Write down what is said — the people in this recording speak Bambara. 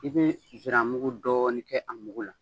I bi ziramugu dɔɔni kɛ a mugu la.